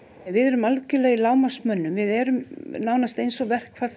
við erum algjörlega í við erum nánast eins og